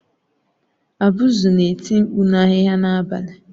Abuzu na-eti mkpu na ahịhịa n'abalị.